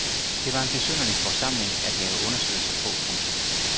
Det var en besynderlig forsamling at lave undersøgelser på. punktum